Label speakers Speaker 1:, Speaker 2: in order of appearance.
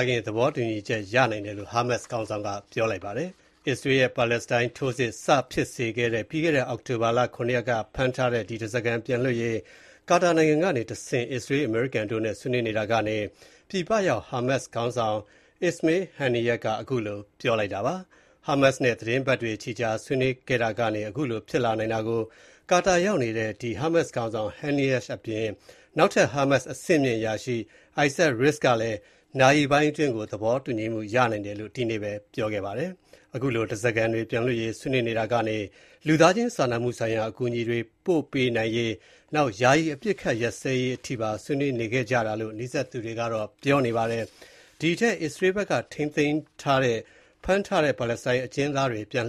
Speaker 1: ခင် သဘောတူချက် ရနိုင်တယ်လို့ ဟာမတ်စ်ခေါင်းဆောင်က ပြောပါတယ်။ ဟာမတ်စ်တွေ အစ္စရေးကို တိုက်ခိုက်ခဲ့တဲ့ အောက်တိုဘာ ၇ ရက်က ဖမ်းထားတဲ့ ဓားစာခံတွေပြန်လွှတ်ရေး ကာတာနိုင်ငံကတဆင့် အစ္စရေး၊ အမေရိကန်တို့နဲ့ ဆွေးနွေးနေတာကနေ ပြည်ပရောက် ဟာမတ်စ်ခေါင်းဆောင် Ismail Haniyeh က ခုလိုပြောလိုက်တာပါ။ ဟာမတ်စ်နဲ့ သီတင်းပတ်တွေချီကြာဆွေးနွေးခဲ့တာကနေ အခုလိုဖြစ်နိုင်တာကို ကာတာရောက်နေတဲ့ ဟာမတ်စ်ခေါင်းဆောင် Haniyeh အပြင်၊ နောက်ထပ် ဟာမတ်စ်အဆင့်မြင့် အရာရှိ Izzat Rishq ကလည်း နာရီပိုင်းအတွင်း သဘောတူမှုရနိုင်တယ်လို့ ဒီနေ့ပဲ ပြောပါတယ်။ အခုလို ဓားစာခံတွေပြန်လွှတ်ရေးဆွေးနွေးနေတာကနေ လူသားချင်းစာနာမှုဆိုင်ရာ အကူအညီတွေပို့ပေးနိုင်ရေး ယာယီအပစ်အခတ်ရပ်စဲရေးရဖို့ပါ ဆွေးနွေးနေခဲ့ကြတာလို့ နီးစပ်သူတွေက ပြောထားပါတယ်။ အလဲအလှယ်အနေနဲ့ အစ္စရေးဘက်က ဖမ်းထားတဲ့ ပါလက်စတိုင်းအကျဉ်းသားတွေ ပြန်